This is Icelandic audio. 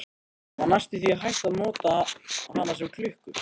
Það var næstum því hægt að nota hana sem klukku.